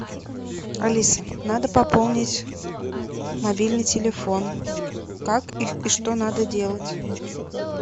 алиса надо пополнить мобильный телефон как и что надо делать